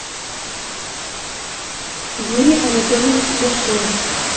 юрий анатольевич дашиев